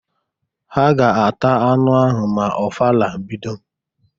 Ha ga-ata anụ ahụ ma ofala bido.